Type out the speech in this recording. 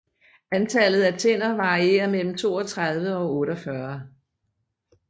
Antallet af tænder varierer mellem 32 og 48